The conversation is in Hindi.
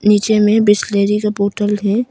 नीचे में बिसलेरी का बोतल है।